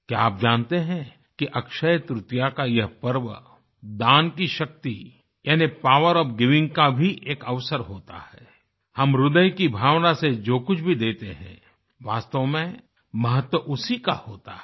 क्या आप जानते हैं कि अक्षयतृतीया का यह पर्व दान की शक्ति यानि पॉवर ओएफ गिविंग का भी एक अवसर होता है हम हृदय की भावना से जो कुछ भी देते हैं वास्तव में महत्व उसी का होता है